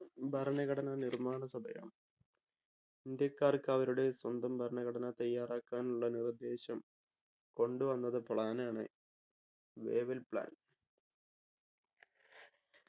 ഭരണഘടനാ നിർമ്മാണ സഭയാണ്. ഇന്ത്യക്കാർക്ക് അവരുടെ സ്വന്തം ഭരണഘടന തയ്യാറാക്കാനുള്ള നിർദ്ദേശം കൊണ്ടു വന്നത് plan ആണ് വേവൽ plan